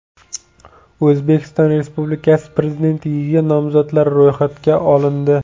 O‘zbekiston Respublikasi Prezidentligiga nomzodlar ro‘yxatga olindi.